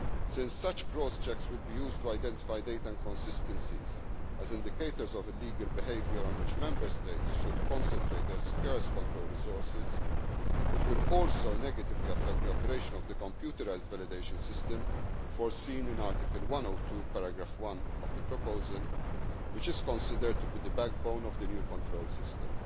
cross checks. Since such cross checks will be used to identify data inconsistencies as indicators of illegal behaviour on which Member States should concentrate their scarce control resources, this amendment would also negatively affect the operation of the computerised validation system foreseen in Article 102 of the proposal which is considered to be the backbone of the new control